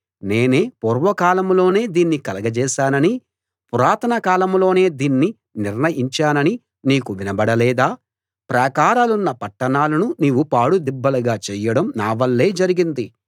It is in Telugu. నేనే పూర్వకాలంలోనే దీన్ని కలగచేశాననీ పురాతన కాలంలోనే దీన్ని నిర్ణయించాననీ నీకు వినబడలేదా ప్రాకారాలున్న పట్టణాలను నీవు పాడు దిబ్బలుగా చెయ్యడం నావల్లే జరిగింది